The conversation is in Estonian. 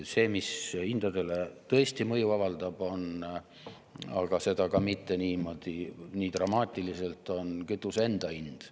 See, mis hindadele tõesti mõju avaldab, on – aga seda ka mitte nii dramaatiliselt – kütuse enda hind.